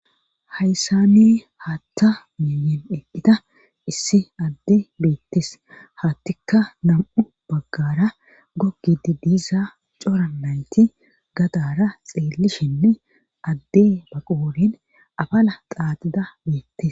hayssani haatta milen eqqida issi adde beettes hattikka nam7u baggara gogidi diiza cora nayti gadara xeellishinne adde ba qoorin afala xaaxida beettes